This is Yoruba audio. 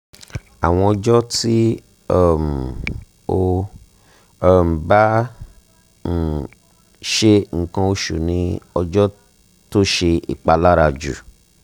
awọn ọjọ ti um o um ba um se nkan osu ni ojo to se ipalara ju